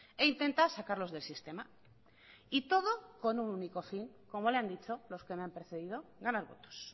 e intenta sacarlos del sistema y todo con un único fin como le han dicho los que me han precedido ganar votos